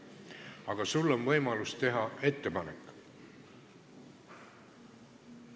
Aga sul on võimalus teha ettepanek.